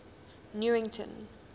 newington